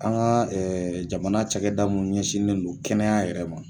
An ka jamana cakɛda mun ɲɛsinnen do kɛnɛya yɛrɛ ma.